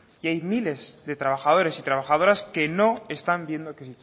y hay miles de trabajadores y trabajadoras que no están viendo que